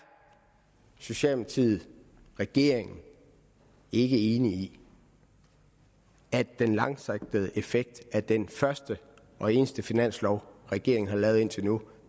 socialdemokratiet og regeringen ikke enig i at den langsigtede effekt af den første og eneste finanslov regeringen har lavet indtil nu